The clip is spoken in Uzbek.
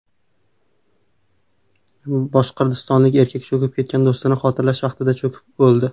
Boshqirdistonlik erkak cho‘kib ketgan do‘stini xotirlash vaqtida cho‘kib o‘ldi.